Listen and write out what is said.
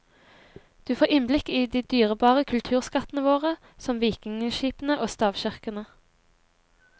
Du får innblikk i de dyrebare kulturskattene våre, som vikingeskipene og stavkirkene.